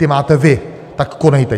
Ty máte vy, tak konejte.